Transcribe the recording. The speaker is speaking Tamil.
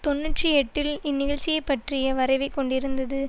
தொன்னூற்றி எட்டில் இந்நிகழ்ச்சியைப் பற்றிய வரைவைக் கொண்டிருந்தது